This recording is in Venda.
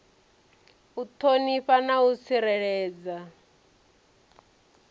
u ṱhonifha na u tsireledza